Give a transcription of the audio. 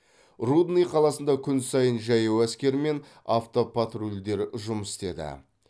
рудный қаласында күн сайын жаяу әскер мен автопатрульдер жұмыс істеді